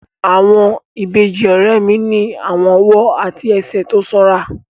Àwọn ìbejì ọ̀rẹ́ mi ní àwọn ọwọ́ àti ẹsẹ̀ tó sanra